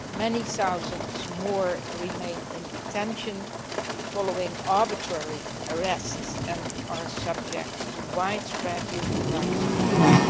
Many thousands more remain in detention following arbitrary arrests and are subject to widespread human rights abuses.